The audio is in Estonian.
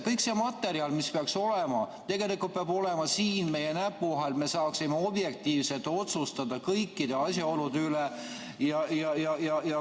Kogu see materjal peaks tegelikult olema siin meie näppude vahel, et me saaksime objektiivselt otsustada kõikide asjaolude üle.